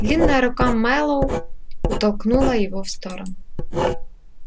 длинная рука мэллоу оттолкнула его в сторону